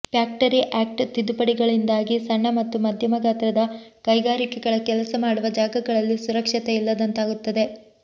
factory act ತಿದ್ದುಪಡಿಗಳಿಂದಾಗಿ ಸಣ್ಣ ಮತ್ತು ಮಧ್ಯಮ ಗಾತ್ರದ ಕೈಗಾರಿಕೆಗಳ ಕೆಲಸ ಮಾಡುವ ಜಾಗಗಳಲ್ಲಿ ಸುರಕ್ಷತೆ ಇಲ್ಲದಂತಾಗುತ್ತದೆ